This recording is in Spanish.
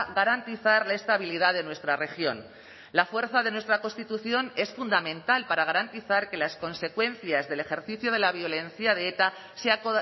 garantizar la estabilidad de nuestra región la fuerza de nuestra constitución es fundamental para garantizar que las consecuencias del ejercicio de la violencia de eta sea